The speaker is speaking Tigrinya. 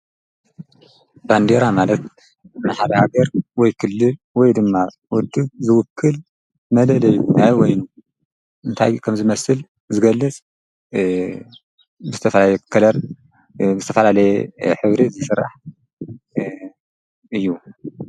ባንዴራ ማለት ንሓደ ሃገርወይ ክልል ወይ ድማ ውድብ ዝውክል መለለይ ናይ በይኑ እንታይ ከም ዝመስል ዝገልፅ ዝተፈላለየ ከለር ዝተፈላለየ ሕብሪ ዝስራሕ እዩ።